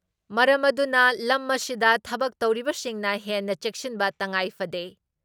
ꯃꯔꯝ ꯑꯗꯨꯅ ꯂꯝ ꯑꯁꯤꯗ ꯊꯕꯛ ꯇꯧꯔꯤꯕꯁꯤꯡꯅ ꯍꯦꯟꯅ ꯆꯦꯛꯁꯤꯟꯕ ꯇꯉꯥꯏꯐꯗꯦ ꯫